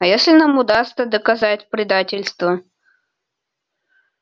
а если нам удастся доказать предательство